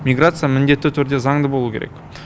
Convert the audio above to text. миграция міндетті түрде заңды болуы керек